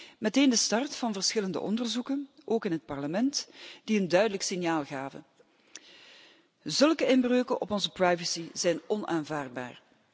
Dit was meteen de start van verschillende onderzoeken, ook in dit Parlement, die een duidelijk signaal gaven zulke inbreuken op onze privacy zijn onaanvaardbaar.